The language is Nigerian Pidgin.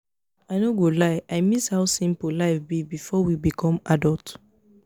i no go lie i miss how simple life be before we become adult